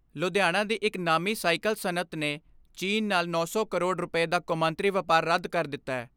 ਲੁਧਿਆਣਾ ਦੀ ਇਕ ਨਾਮੀ ਸਾਈਕਲ ਸਨੱਅਤ ਨੇ ਚੀਨ ਨਾਲ ਨੌਂ ਸੌ ਕਰੋੜ ਰੁਪੈ ਦਾ ਕੌਮਾਂਤਰੀ ਵਪਾਰ ਰੱਦ ਕਰ ਦਿੱਤੈ।